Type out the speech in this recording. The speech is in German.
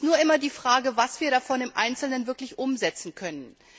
Es ist nur immer die Frage, was wir davon im Einzelnen wirklich umsetzen können.